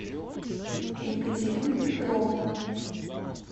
екатерина петровна